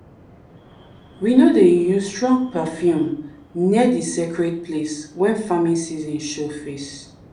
we no no dey use strong perfume near di sacred place wen farming season show face.